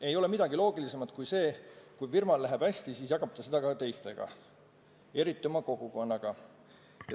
Ei ole midagi loogilisemat kui see, et kui firmal läheb hästi, siis jagab ta seda ka teistega, eriti oma kogukonnaga.